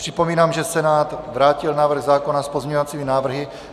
Připomínám, že Senát vrátil návrh zákona s pozměňovacími návrhy.